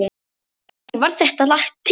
Þannig varð þetta lag til.